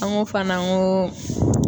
An ko fana , n ko